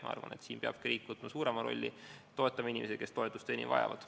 Ma arvan, et siin peab riik võtma suurema rolli ja toetama inimesi, kes toetust enim vajavad.